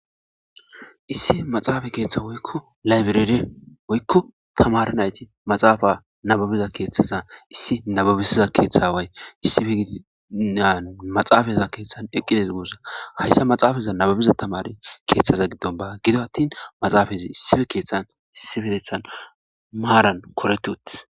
issi maxaafa keeththa woykko laybirere woykko tamara nayti maxaafa nababiza keeththaza issi nababisiza keeththa way maxaafaza keeththan eqqides gossa hayta maxaafaza nababiza tamare keeththaza giddonba gido attin maxaafazi issife keeththan issi birethan maaran koretut